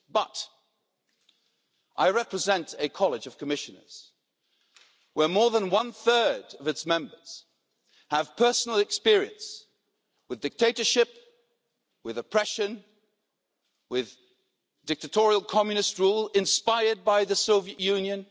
But, I represent a college of Commissioners, where more than one third of its Members have personal experience with dictatorship, with oppression and with dictatorial communist rule inspired by the Soviet Union.